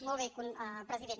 molt bé president